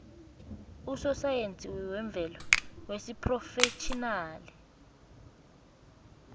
usosayensi wemvelo wesiphrofetjhinali